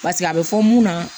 Paseke a bɛ fɔ mun na